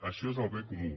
això és el bé comú